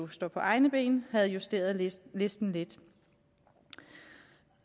står på egne ben havde justeret listen listen lidt